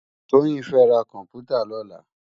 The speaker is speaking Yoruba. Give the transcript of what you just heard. Toyin fè rá kòmpútá lòlá